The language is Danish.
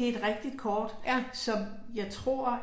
Det et rigtigt kort, som jeg tror,